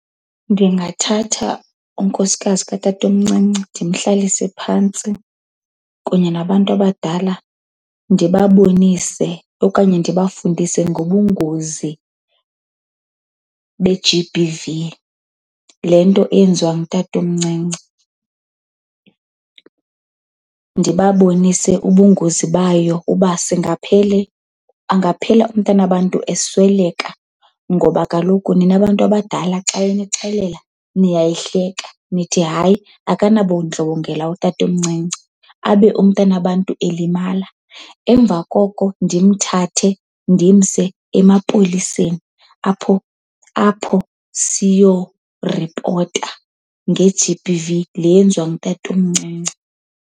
Ndingathatha unkosikazi katatomncinci ndimhlalise phantsi kunye nabantu abadala. Ndibabonise okanye ndibafundise ngobungozi be-G_B_V, le nto eyenziwa ngutatomncinci. Ndibabonise ubungozi bayo uba singaphele angaphela umntanabantu esweleka ngoba kaloku nina bantu abadala xa enixelela niyayihleka nithi, hayi akanabundlobongela utatomncinci. Abe umntanabantu elimala. Emva koko ndimthathe ndimse emapoliseni apho apho siyoripota nge-G_B_V le yenziwa ngutatomncinci.